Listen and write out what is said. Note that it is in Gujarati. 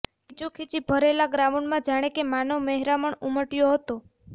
ખીચોખીચ ભરાયેલા ગ્રાઉન્ડમાં જાણે કે માનવ મહેરામણ ઉમટયો હતો